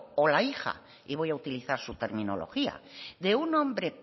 o la hija y voy a utilizar su terminología de un hombre